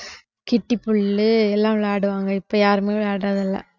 கிட்டி புல்லு எல்லாம் விளையாடுவாங்க இப்ப யாருமே விளையாடுறது இல்ல